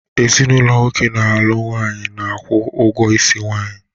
Ezinụlọ nwoke na-alụ nwaanyị na-akwụ ụgwọ isi nwaanyi